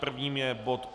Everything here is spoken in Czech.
Prvním je bod